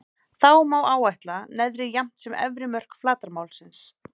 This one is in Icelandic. Þá má áætla neðri jafnt sem efri mörk flatarmálsins.